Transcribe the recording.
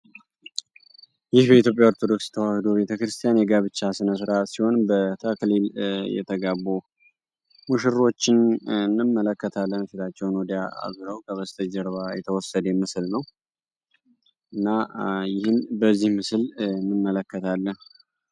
ይህ በኢትዮጵያ ኦርቶዶክስ ቤተክርስቲያን የጋብቻ ስነስርአት ሲሆን በተክሊል የተጋቡ ሙሽሮችን እንመለከታለን። ፊታቸውን ወዲያ አዙረው ከበስተጀርባቸው የተወሰደ ምስል ነው። እና ይህን በዚ ምስል እንመልከታለን።